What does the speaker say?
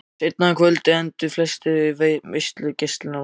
Seinna um kvöldið enduðu flestir veislugestanna inni í hlöðunni.